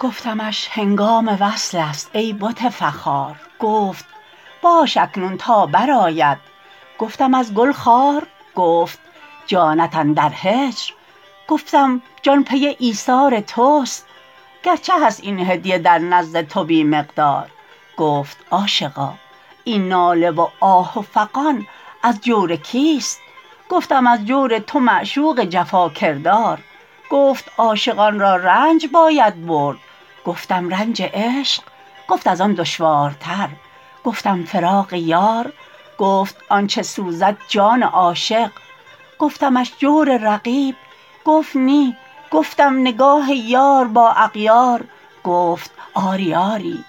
گفتمش هنگام وصل است ای بت فرخار گفت باش اکنون تا برآید گفتم ازگل خار گفت جانت اندر هجر گفتم جان پی ایثار تست گرچه هست این هدیه در نزد تو بی مقدار گفت عاشقا این ناله و آه و فغان از جور کیست گفتم از جور تو معشوق جفاکردار گفت عاشقان را رنج باید بردگفتم رنج عشق گفت از آن دشوارتر گفتم فراق یار گفت آنچه سوزد جان عاشق گفتمش جور رقیب گفت نی گفتم نگاه یار با اغیار گفت آری آری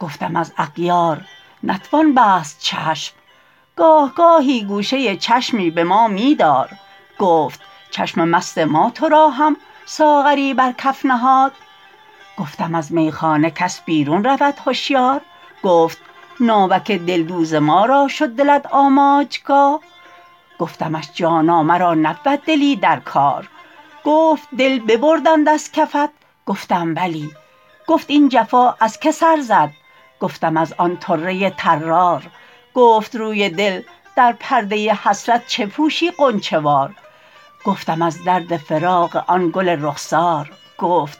گفتم از اغیار نتوان بست چشم گاه گاهی گوشه چشمی به ما می دار گفت چشم مست ما تو را هم ساغری برکف نهاد گفتم از میخانه کس بیرون رود هشیار گفت ناوک دلدوز ما را شد دلت آماجگاه گفتمش جانا مرا نبود دلی درکار گفت دل ببردند ازکفت گفتم بلی گفت این جفا ازکه سر زد گفتم از آن طره طرار گفت روی دل در پرده حسرت چه پوشی غنچه وار گفتم از درد فراق آن گل رخسار گفت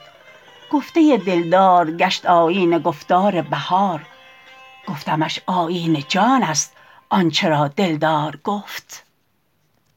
گفته دلدار گشت آیین گفتار بهار گفتمش آیین جان است آنچه را دلدار گفت